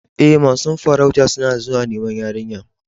E, masun farautan suna zuwa niman yarinyan.